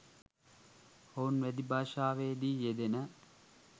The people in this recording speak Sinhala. ඔවුන් වැදි භාෂාවේ දී යෙදෙන